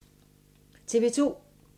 TV 2